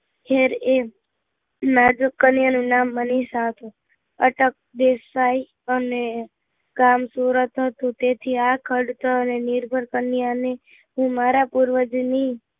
ખેર એમ માર્ગ કન્યા નું નામ મનીષા હતું અટક દેસાઈ અને ગામ સુરત હતું તેથી આ ખાડતર અને નિર્ભર કન્યા ને હું મારા પૂર્વજ ની